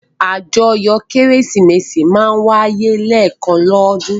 Àjọyọ̀ Kérésìmesì máa ń wáyé lẹ́ẹ̀kan lọ́dún.